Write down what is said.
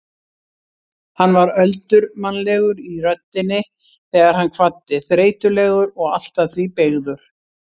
Hann var öldurmannlegur í röddinni þegar hann kvaddi, þreytulegur og allt að því beygður.